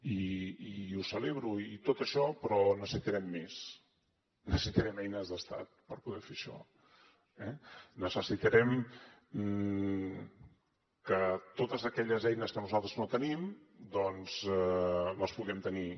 i ho celebro i tot això però necessitarem més necessitarem eines d’estat per poder fer això eh necessitarem que totes aquelles eines que nosaltres no tenim doncs les puguem tenir